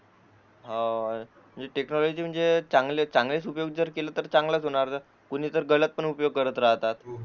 अं ही टेक्नॉलॉजी म्हणजे चांगला उपयोग केला तर चांगलंच होणार कुणी तर गलत पण करत राहतात